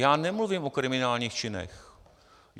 Já nemluvím o kriminálních činech.